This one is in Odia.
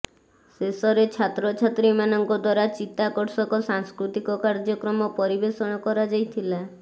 ଶେଷରେ ଛାତ୍ରଛାତ୍ରୀମାନଙ୍କ ଦ୍ୱାରା ଚିତାକର୍ଷକ ସାଂସ୍କୃତିକ କାର୍ଯ୍ୟକ୍ରମ ପରିବେଷଣ କରାଯାଇଥିଲା